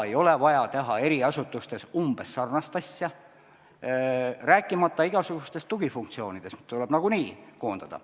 Ei ole vaja teha eri asutustes umbes sarnast asja, rääkimata igasugustest tugifunktsioonidest, mis tuleb nagunii koondada.